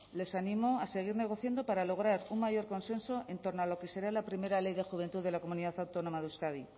les animo a seguir negociando para lograr un mayor consenso en torno a lo que será la primera ley de juventud de la comunidad autónoma de euskadi